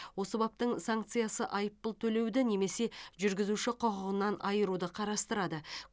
осы баптың санкциясы айыппұл төлеуді немесе жүргізуші құқығынан айыруды қарастырады